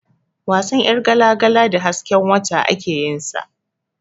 Wasan ƴargala-gala da hasken wata ake yin sa.